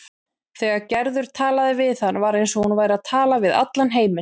Þegar Gerður talaði við hann var eins og hún væri að tala við allan heiminn.